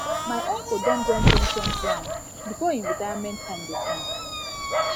my uncle don join pension plan before him retirement time him retirement time go come